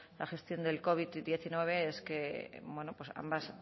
la gestión del covid diecinueve es que bueno pues ambos